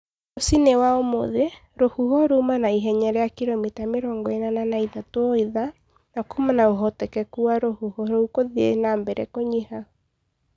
Rũcinĩ wa ũmũthĩ, rũhuho ruma na ihenya rĩa kilomita mĩrongo ĩnana na ithatu o ithaa, na kuuma na ũhotekeku wa rũhuho rũu gũthiĩ na mbere kũnyiha.